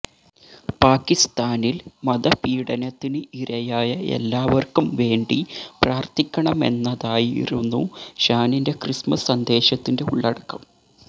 പാക്കിസ്താനിൽ മതപീഡനത്തിന് ഇരയായ എല്ലാവർക്കുംവേണ്ടി പ്രാർത്ഥിക്കണമെന്നതായിരുന്നു ഷാനിന്റെ ക്രിസ്മസ് സന്ദേശത്തിന്റെ ഉള്ളടക്കം